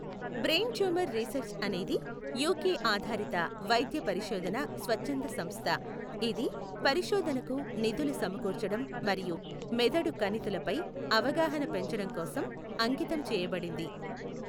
Brain Tumour Research అనేది UK ఆధారిత వైద్య పరిశోధన స్వచ్ఛంద సంస్థ, ఇది పరిశోధనకు నిధులు సమకూర్చడం మరియు మెదడు కణితిలపై అవగాహన పెంచడం కోసం అంకితం చేయబడింది.